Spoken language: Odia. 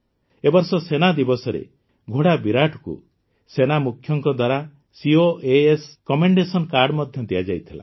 ଏ ବର୍ଷ ସେନା ଦିବସରେ ଘୋଡ଼ା ବିରାଟକୁ ସେନାମୁଖ୍ୟଙ୍କ ଦ୍ୱାରା ସିଓଏଏସ୍ କମେଣ୍ଡେସନ କାର୍ଡ ମଧ୍ୟ ଦିଆଯାଇଥିଲା